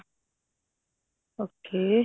okay